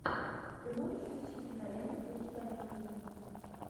ты можешь включить киноленту в духе комедии